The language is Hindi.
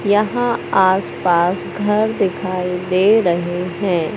यहां आस पास घर दिखाई दे रहे हैं।